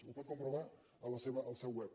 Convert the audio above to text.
ho pot comprovar en el seu web